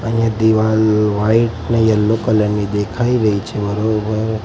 અહીંયા દીવાલ વાઈટ ને યેલ્લો કલર ની દેખાય રહી છે --